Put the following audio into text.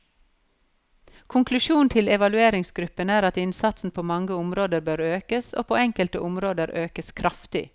Konklusjonen til evalueringsgruppen er at innsatsen på mange områder bør økes, og på enkelte områder økes kraftig.